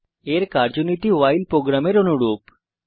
এর কার্যনীতি ভাইল প্রোগ্রামের অনুরূপ